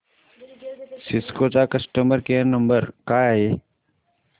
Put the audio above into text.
Cisco चा customer care number काय आहे